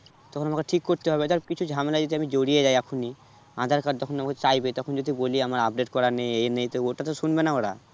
তখন আমাকে ঠিক করতে হবে ধর কিছু ঝামেলায় যদি আমি জড়িয়ে যাই এখনই আঁধার card যখন আমার চাইবে তখন যদি আমি বলি আমার update করা নেই এ নেই তো ওটা তো শুনবে না ওরা